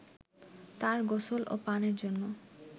তার গোসল ও পানের জন্য